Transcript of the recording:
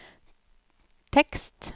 tekst